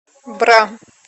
бра